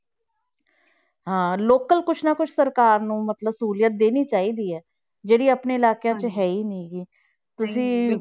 ਹਾਂ local ਕੁਛ ਨਾ ਕੁਛ ਸਰਕਾਰ ਨੂੰ ਮਤਲਬ ਸਹੂਲੀਅਤ ਦੇਣੀ ਚਾਹੀਦੀ ਹੈ, ਜਿਹੜੀ ਆਪਣੇ ਇਲਾਕਿਆਂ ਵਿੱਚ ਹੈ ਹੀ ਨੀ ਗੀ